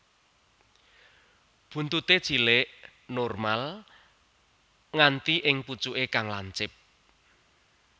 Buntuté cilik normal nganti ing pucuké kang lancip